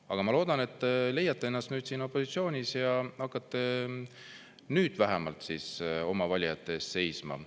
Aga ma loodan, et te leiate ennast nüüd siin opositsioonis ja hakkate nüüd vähemalt oma valijate eest seisma.